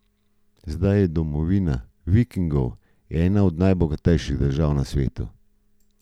Zdaj je domovina Vikingov ena od najbogatejših držav na svetu.